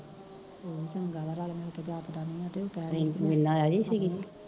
ਹਮ ਚੰਗਾ ਵਾ ਰੱਲ ਮਿਲ ਕੇ ਹੱਥ ਵਟਾ ਦੀਆ ਤੇ